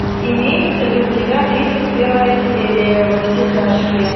имеется ли у тебя тридцать первая серия во все тяжкие